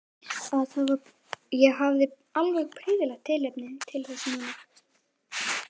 Ég hafði alveg prýðilegt tilefni til þess núna.